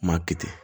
Maa kɛ ten